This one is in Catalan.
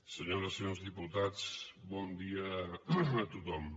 senyores i senyors diputats bon dia a tothom